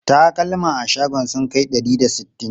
Takalma a shagon sun kai ɗari da sittin?